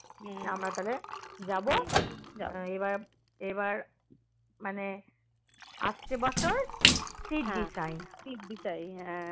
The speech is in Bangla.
আমরা তাহলে যাবো এবার এবার মানে আসছে বছর সিদ্ধি time